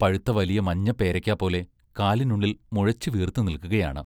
പഴുത്ത വലിയ മഞ്ഞ പേരയ്ക്കാ പോലെ കാലിനുള്ളിൽ മുഴച്ചുവീർത്തു നില്ക്കുകയാണ്.